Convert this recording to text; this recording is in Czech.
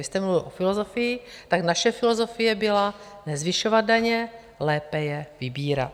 Vy jste mluvil o filozofii, tak naše filozofie byla nezvyšovat daně, lépe je vybírat.